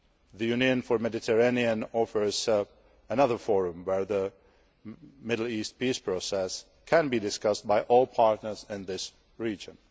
The Union for the Mediterranean offers another forum where the Middle East Peace Process can be discussed by all partners in this region.